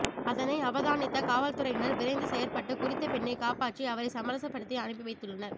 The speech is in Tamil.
அதனை அவதானித்த காவல்துறையினர் விரைந்து செயற்பட்டு குறித்த பெண்ணை காப்பாற்றி அவரை சமரசப்படுத்தி அனுப்பி வைத்துள்ளனர்